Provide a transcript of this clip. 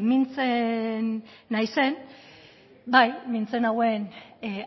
mintzen naizen bai mintzen nauen